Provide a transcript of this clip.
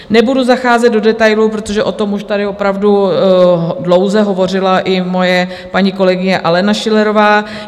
Nebudu zacházet do detailů, protože o tom už tady opravdu dlouze hovořila i moje paní kolegyně Alena Schillerová.